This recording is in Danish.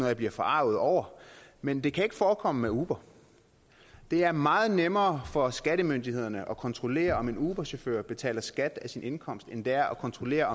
jeg bliver forarget over men det kan ikke forekomme med uber det er meget nemmere for skattemyndighederne at kontrollere om en uberchauffør betaler skat af sin indkomst end det er at kontrollere